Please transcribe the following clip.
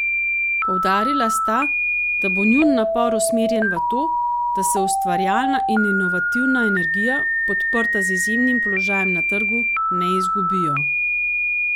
Poudarila sta, da bo njun napor usmerjen v to, da se ustvarjalna in inovativna energija, podprta z izjemnim položajem na trgu, ne izgubijo.